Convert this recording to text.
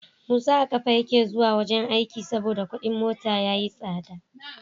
Musa a kafa yake zuwa wajan aiki saboda Ƙudin mota yayi tsada